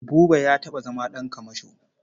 Buba ya taɓa zama ɗan kamasho.